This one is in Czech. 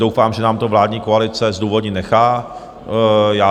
Doufám, že nám to vládní koalice zdůvodnit nechá.